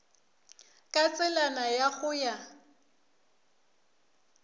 ka tselana ya go ya